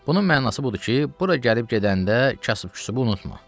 Bunun mənası budur ki, bura gəlib gedəndə kasıb küçubu unutma.